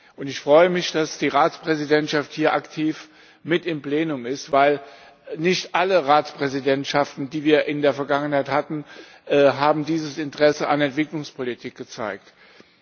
Und ich freue mich, dass die Ratspräsidentschaft hier aktiv mit im Plenum ist, weil nicht alle Ratspräsidentschaften, die wir in der Vergangenheit hatten, dieses Interesse an Entwicklungspolitik gezeigt haben.